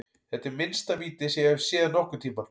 Þetta er minnsta víti sem ég hef séð nokkurntímann.